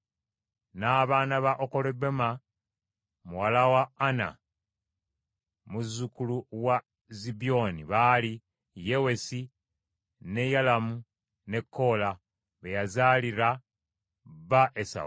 N’abaana ba Okolibama muwala wa Ana, muzzukulu wa Zibyoni, baali Yewusi, ne Yalamu ne Koola, be yazaalira bba Esawu.